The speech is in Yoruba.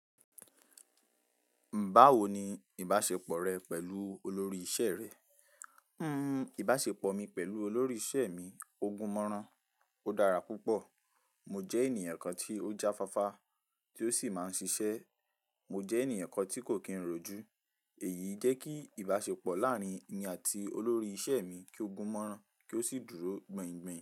"Báwo ni ìbáṣepọ̀ rẹ pẹ̀lú olórí iṣẹ́ rẹ?" ìbáṣepọ̀ mi pẹ̀lú olórí iṣẹ́ mi ogun mọ́rán, ó dára púpọ̀. Mo jẹ́ ènìyàn kan tí ó jáfáfá tí ó sì máa ń ṣiṣẹ́. Mo jẹ́ ènìyàn kan tí kò kí n ròjú. Èyí jẹ́ kí ìbáṣepọ̀ láàárín mi àti olórí iṣẹ́ mi kí ó gún mọ́rán kí ó sì dúró gbìngbin.